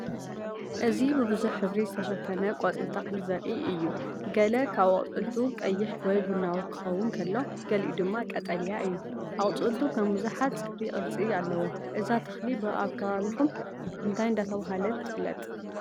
እዚ ብብዙሕ ሕብሪ ዝተሸፈነ ቆጽሊ ተክሊ ዘርኢ እዩ። ገለ ካብ ኣቝጽልቱ ቀይሕ ወይ ቡናዊ ክኸውን ከሎ፡ ገሊኡ ድማ ቀጠልያ እዩ። ኣቝጽልቱ ከም ብዙሓት ጽፍሪ ቅርጺ ኣለዎ። እዛ ተክሊ ብ ኣከባቢኩም እንታይ እንዳተባሃለት ትፍለጥ?